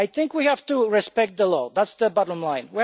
We have to respect the law, that's the bottom line.